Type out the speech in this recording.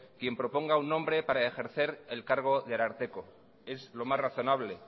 quien proponga un nombre para ejercer el cargo del ararteko es lo más razonable